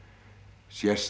sést